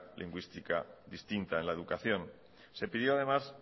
lingüística distinta en la educación se pidió además